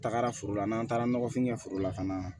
Tagara foro la n'an taara nɔgɔfin kɛ foro la ka na